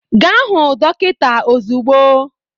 Gaa hụ dọkịta ozugbo!